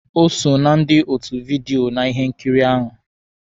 O so na ndị otu vidiyo na ihe nkiri ahụ.